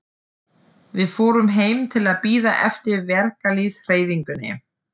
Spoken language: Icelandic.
Við fórum heim til að bíða eftir verkalýðshreyfingunni.